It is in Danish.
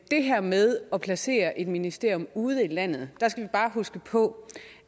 det her med at placere et ministerium ude i landet skal vi bare huske på